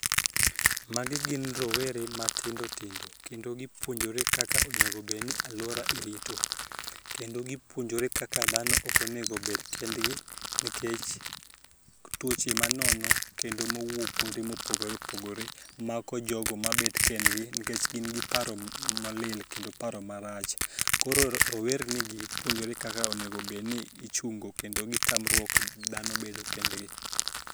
Magi gin rowere matindotindo kendo gipuonjore kaka onegobed ni alwora irito kendo gipuonjore kaka dhano okonego bed kendgi nikech tuoche manono kendo mowuok kuonde mopogore opogore mako jogo mabet kendgi nkech gin gi paro molil kendo paro marach. Koro rowernigi puonjore kaka onegobedni ichungo kendo gitamruok dhano bedo kendgi.